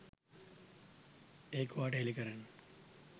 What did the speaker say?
ඒක ඔයාට හෙළි කරන්න.